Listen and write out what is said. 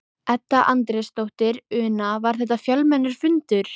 Edda Andrésdóttir: Una, var þetta fjölmennur fundur?